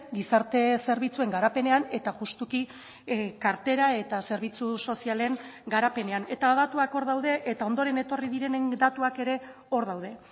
gizarte zerbitzuen garapenean eta juxtuki kartera eta zerbitzu sozialen garapenean eta datuak hor daude eta ondoren etorri direnen datuak ere hor daude